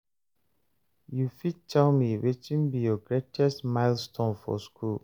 you fit tell me watin be your greatest milestone for school?